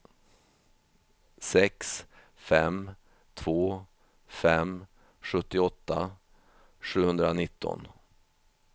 sex fem två fem sjuttioåtta sjuhundranitton